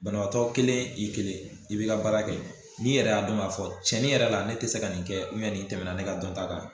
Banabaatɔ kelen i kelen i bɛ ka baara kɛ, n'i yɛrɛ y'a dɔn k'a fɔ tiɲɛni yɛrɛ la ne tɛ se ka nin kɛ nin tɛmɛna ne ka dɔnta kan.